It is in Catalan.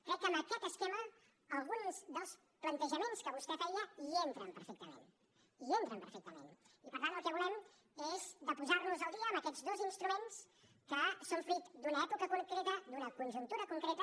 crec que en aquest esquema alguns dels plantejaments que vostè feia hi entren perfectament hi entren perfectament i per tant el que volem és posarnos al dia amb aquests dos instruments que són fruit d’una època concreta d’una conjuntura concreta